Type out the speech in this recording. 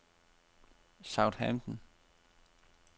Southampton